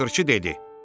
Naxırçı dedi: